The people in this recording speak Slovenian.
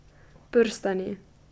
Prstani.